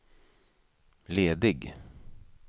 ledig